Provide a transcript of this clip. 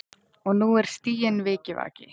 Og nú er stiginn vikivaki.